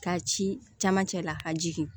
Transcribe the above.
Ka ci camancɛ la ka jigin